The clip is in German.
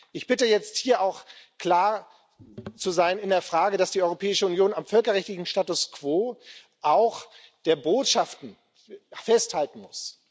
Ich bitte jetzt, hier auch klar zu sein in der Frage, dass die Europäische Union am völkerrechtlichen Status quo auch der Botschaften festhalten muss.